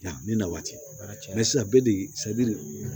Yanni na waati cɛ